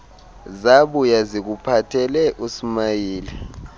zabuya zikuphathele usmayili